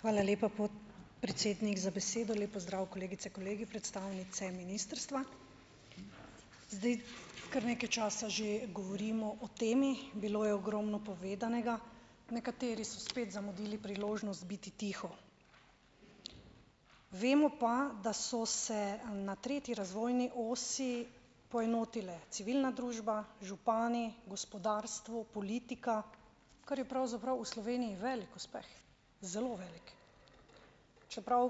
Hvala lepa, podpredsednik za besedo. Lep pozdrav kolegice, kolegi, predstavnice ministrstva. Zdaj, kar nekaj časa že govorimo o temi. Bilo je ogromno povedanega. Nekateri so spet zamudili priložnost biti tiho. Vemo pa, da so se na tretji razvojni osi poenotile civilna družba, župani, gospodarstvo, politika, kar je pravzaprav v Sloveniji velik uspeh, zelo velik. Čeprav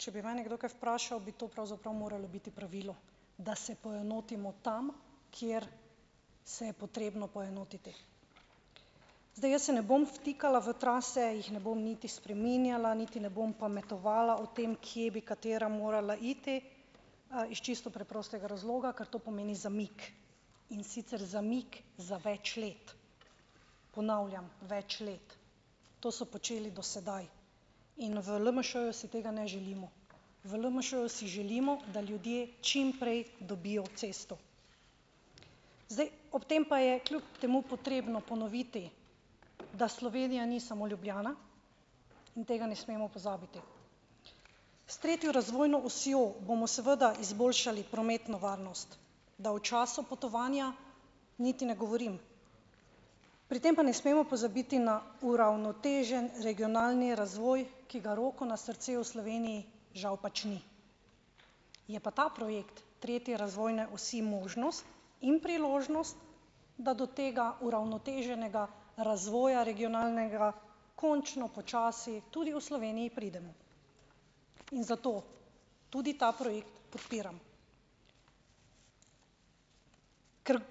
če bi mene kdo kaj vprašal, bi to pravzaprav moralo biti pravilo, da se poenotimo tam, kjer se je potrebno poenotiti. Zdaj, jaz se ne bom vtikala v trase, jih ne bom niti spreminjala, niti ne bom pametovala o tem, kje bi katera morala iti. Iz čisto preprostega razloga, ker to pomeni zamik in sicer zamik za več let. Ponavljam, več let. To so počeli do sedaj in v LMŠ-ju si tega ne želimo. V LMŠ-ju si želimo, da ljudje čim prej dobijo cesto. Zdaj, ob tem pa je kljub temu potrebno ponoviti, da Slovenija ni samo Ljubljana in tega ne smemo pozabiti. S tretjo razvojno osjo bomo seveda izboljšali prometno varnost, da o času potovanja niti ne govorim. Pri tem pa ne smemo pozabiti na uravnotežen regionalni razvoj, ki ga roko na srce v Sloveniji žal pač ni. Je pa ta projekt tretje razvojne osi možnost in priložnost, da do tega uravnoteženega razvoja regionalnega končno počasi tudi v Sloveniji pridemo. In zato tudi ta projekt podpiram.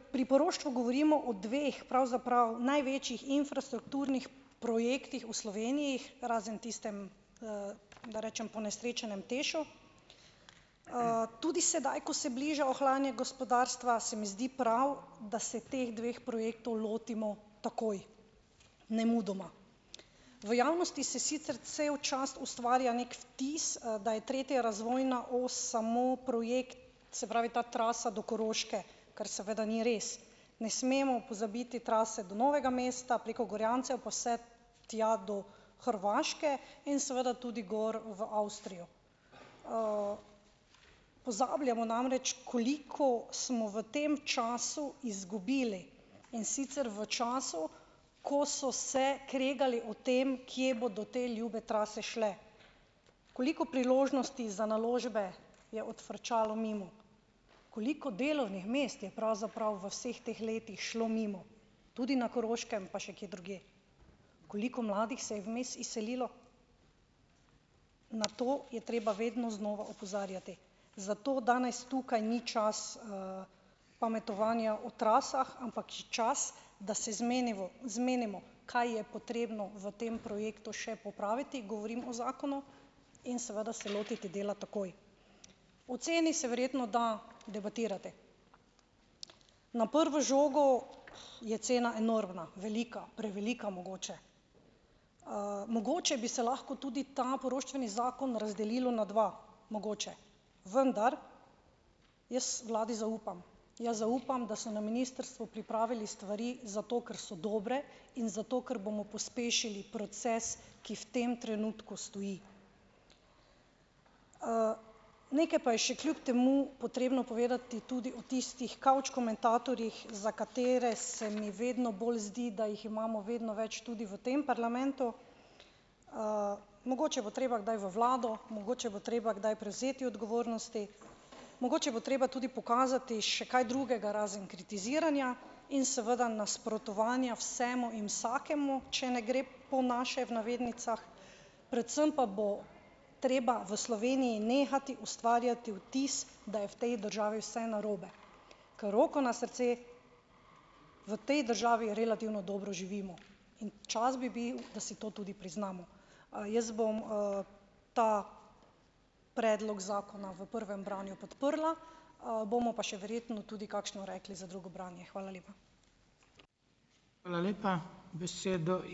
Ker pri poroštvu govorimo o dveh pravzaprav največjih infrastrukturnih projektih v Sloveniji, razen tistem, da rečem ponesrečenem TEŠ-u. Tudi sedaj, ko se bliža ohlajanje gospodarstva, se mi zdi prav, da se teh dveh projektov lotimo takoj, nemudoma. V jasnosti se sicer cel čas ustvarja neki vtis, da je tretja razvojna os samo projekt, se pravi, ta trasa do Koroške, kar seveda ni res. Ne smemo pozabiti trase do Novega mesta, preko Gorjancev, pa vse tja do Hrvaške in seveda tudi gor v Avstrijo. Pozabljamo namreč, koliko smo v tem času izgubili, in sicer v času, ko so se kregali o tem, kje bodo te ljube trase šle. Koliko priložnosti za naložbe je odfrčalo mimo, koliko delovnih mest je pravzaprav v vseh teh letih šlo mimo, tudi na Koroškem, pa še kje drugje. Koliko mladih se je vmes izselilo? Na to je treba vedno znova opozarjati. Zato danes tukaj ni čas, pametovanja o trasah, ampak čas, da se zmenivo zmenimo, kaj je potrebno v tem projektu še popraviti - govorim o zakonu, in seveda se lotiti dela takoj. O ceni se verjetno da debatirati. Na prvo žogo je cena enormna, velika, prevelika mogoče. Mogoče bi se lahko tudi ta poroštveni zakon razdelilo na dva, mogoče, vendar jaz vladi zaupam. Jaz zaupam, da so na ministrstvu pripravi stvari zato, ker so dobre, in zato, ker bomo pospešili proces, ki v tem trenutku stoji. Nekaj pa je še kljub temu potrebno povedati tudi o tistih kavč komentatorjih, za katere se mi vedno bolj zdi, da jih imamo vedno več tudi v tem parlamentu. Mogoče bo treba kdaj v vlado, mogoče bo treba kdaj prevzeti odgovornosti, mogoče bo treba tudi pokazati še kaj drugega razen kritiziranja in seveda nasprotovanja vsemu in vsakemu, če ne gre "po naše", v navednicah, predvsem pa bo treba v Sloveniji nehati ustvarjati vtis, da je v tej državi vse narobe. Ker roko na srce, v tej državi relativno dobro živimo. In čas bi bil, da si to tudi priznamo. jaz bom, ta predlog zakona v prvem branju podprla. Bomo pa še verjetno tudi kakšno rekli za drugo branje. Hvala lepa.